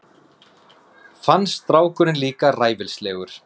Finnst strákurinn líka ræfilslegur.